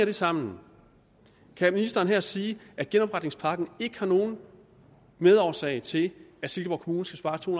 det sammen kan ministeren her sige at genopretningspakken ikke er nogen medårsag til at silkeborg kommune skal spare to